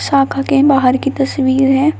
ताखा के बाहर की तस्वीर है।